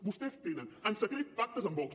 vostès tenen en secret pactes amb vox